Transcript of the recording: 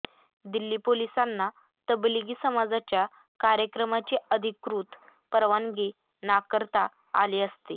दिल्ली पोलिसांना तबलिगी समाजाच्या कार्यक्रमाची अधिकृत परवानगी नाकारता आली असती